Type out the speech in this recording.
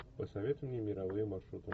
посоветуй мне мировые маршруты